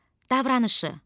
Davranışı.